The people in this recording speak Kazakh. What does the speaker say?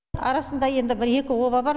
арасында енді бір екі оба бар